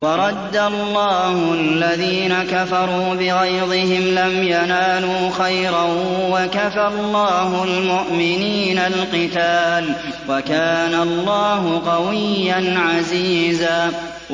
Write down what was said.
وَرَدَّ اللَّهُ الَّذِينَ كَفَرُوا بِغَيْظِهِمْ لَمْ يَنَالُوا خَيْرًا ۚ وَكَفَى اللَّهُ الْمُؤْمِنِينَ الْقِتَالَ ۚ وَكَانَ اللَّهُ قَوِيًّا عَزِيزًا